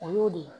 O y'o de ye